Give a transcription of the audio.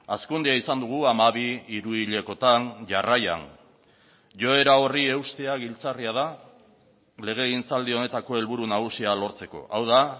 hazkundea izan dugu hamabi hiruhilekotan jarraian joera horri eustea giltzarria da legegintzaldi honetako helburu nagusia lortzeko hau da